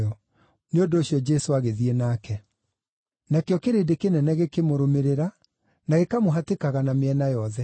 Nĩ ũndũ ũcio Jesũ agĩthiĩ nake. Nakĩo kĩrĩndĩ kĩnene gĩkĩmũrũmĩrĩra, na gĩkamũhatĩkaga na mĩena yothe.